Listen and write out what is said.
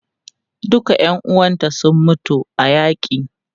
Duka ƴan uwanta sun mutu a yaƙi.